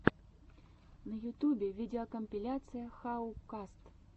на ютьюбе видеокомпиляция хау каст